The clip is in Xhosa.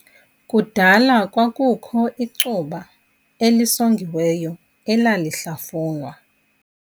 Kudala kwakukho icuba elisongiweyo elalihlafunwa.